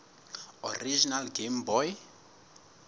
original game boy